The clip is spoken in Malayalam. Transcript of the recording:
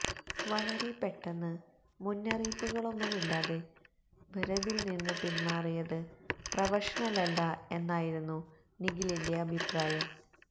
വളരെ പെട്ടെന്ന് മുന്നറിയിപ്പുകളൊന്നുമില്ലാതെ ഭരതിൽ നിന്ന് പിന്മാറിയത് പ്രൊഫഷണലല്ല എന്നായിരുന്നു് നിഖിലിന്റെ അഭിപ്രായം